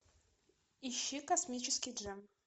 ищи космический джем